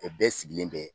Bɛɛ sigilen bɛ